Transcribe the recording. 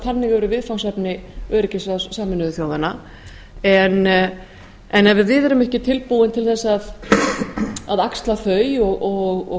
þannig eru viðfangsefni öryggisráðs sameinuðu þjóðanna en ef við erum ekki tilbúin til þess að axla þau og